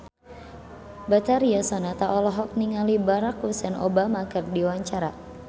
Betharia Sonata olohok ningali Barack Hussein Obama keur diwawancara